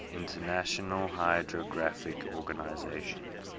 international hydrographic organization